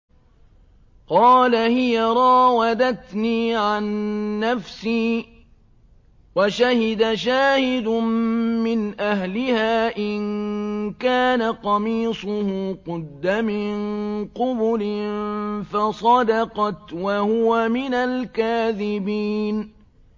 قَالَ هِيَ رَاوَدَتْنِي عَن نَّفْسِي ۚ وَشَهِدَ شَاهِدٌ مِّنْ أَهْلِهَا إِن كَانَ قَمِيصُهُ قُدَّ مِن قُبُلٍ فَصَدَقَتْ وَهُوَ مِنَ الْكَاذِبِينَ